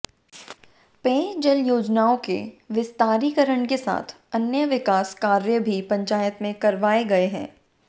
पेयजल योजनाओं के विस्तारीकरण के साथ अन्य विकास कार्य भी पंचायत में करवाए गए हैं